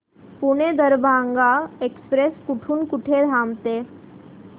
Pune Darbhanga express कुठे कुठे थांबते